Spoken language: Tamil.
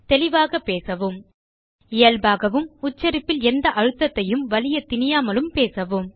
தெளிவாகப் பேசவும் இயல்பாகவும் உச்சரிப்பில் எந்த அழுத்தத்தையும் வலியத் திணிக்காமலும் பேசவும்